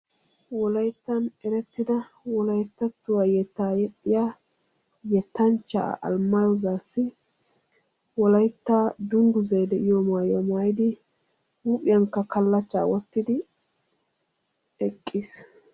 wolayttan erettida wolayttattuwa yetaa yexxiyaa yetanchchaa alemaayehu zaassi wolaytta dunguzzay de'iyo maayuwaa maayidi huuphiyankka kalachchaa wottidi eqqiis,